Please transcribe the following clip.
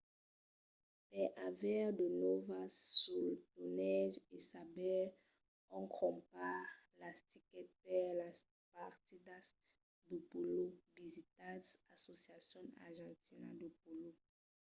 per aver de nòvas suls torneges e saber ont crompar las tickets per las partidas de pòlo visitatz asociación argentina de polo